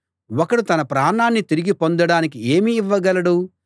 ఒకడు తన ప్రాణాన్ని తిరిగి పొందడానికి ఏమి ఇవ్వగలడు